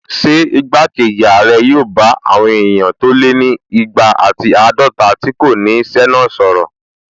Ṣé igbákejì ààrẹ yóò bá àwọn èèyàn tó lé ní igba ati àádọta tí kò ní ṣẹ́ náà sọ̀rọ̀?